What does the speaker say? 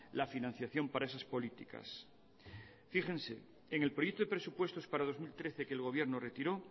la financiación para esas políticas fíjense en el proyecto de presupuestos para dos mil trece que el gobierno retiró